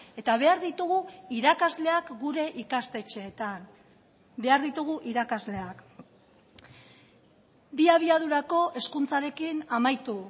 eta behar ditugu irakasleak gure ikastetxeetan behar ditugu irakasleak bi abiadurako hezkuntzarekin amaitu